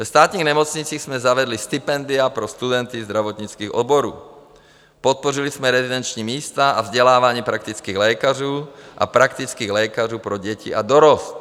Ve státních nemocnicích jsme zavedli stipendia pro studenty zdravotnických oborů, podpořili jsme rezidenční místa a vzdělávání praktických lékařů a praktických lékařů pro děti a dorost.